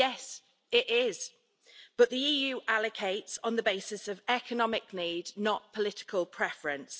Yes, it is, but the EU allocates on the basis of economic need, not political preference.